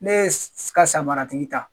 Ne ye ka samara tigi ta